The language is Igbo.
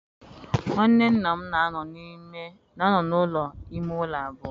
Nwanne nna m na-anọ n'ụlọ ime ụlọ abụọ.